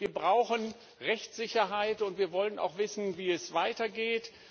Wir brauchen Rechtssicherheit, und wir wollen auch wissen, wie es weitergeht.